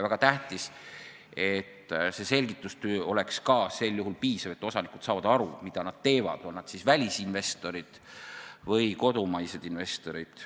Väga tähtis, et selgitustöö oleks ka sel juhul piisav, et osanikud saavad aru, mida nad teevad, on nad siis välisinvestorid või kodumaised investorid.